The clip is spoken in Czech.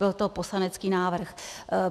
Byl to poslanecký návrh.